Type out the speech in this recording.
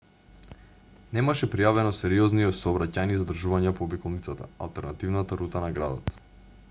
немаше пријавено сериозни сообраќајни задржувања по обиколницата алтернативната рута на градот